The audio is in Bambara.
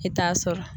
I t'a sɔrɔ